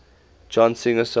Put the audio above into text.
john singer sargent